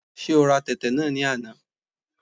Ṣé ora tẹ̀tẹ̀ náà ní àná?